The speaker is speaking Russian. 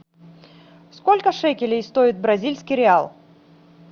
сколько шекелей стоит бразильский реал